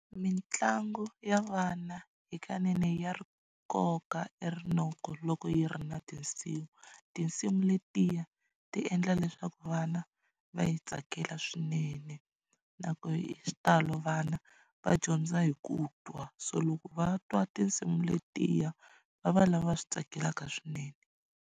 Mitlangu ya vana hikanene ya ri koka e rinoko loko yi ri na tinsimu tinsimu letiya ti endla leswaku vana va yi tsakela swinene na ku hi xitalo vana va dyondza hi ku twa so loko va twa tinsimu letiya va va lava swi tsakelaka swinene.